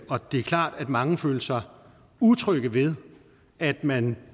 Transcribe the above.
og det er klart at mange følte sig utrygge ved at man